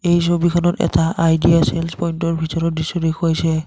এই ছবিখনত এটা আইডিয়া চেলেছ পইণ্টৰ ভিতৰৰ দৃশ্য দেখুৱাইছে।